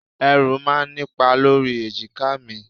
Ẹrù máa ń nipa lórí èjìká mi.